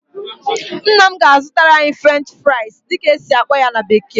Nna m ga-azụtara anyị "French fries" dịka esi akpọ ya na bekee